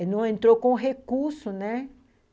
Não entrou com recurso, né?